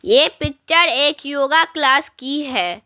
ये पिक्चर एक योगा क्लास की है।